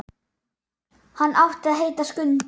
Hann átti að heita Skundi.